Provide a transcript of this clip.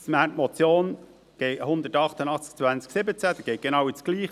Die Motion 188-2017 geht genau ins Gleiche: